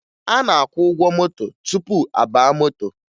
A na-akwụ ụgwọ moto tupu a baa moto